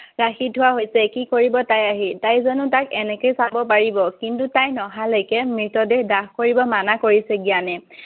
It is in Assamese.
ৰাখি থোৱা হৈছে। কি কৰিব তাই আহি। তাই জানো তাক এনেকৈ চাব পাৰিব? কিন্তু তাই নহালৈকে মৃতদেহ দাহ কৰিব মানা কৰিছে জ্ঞানে।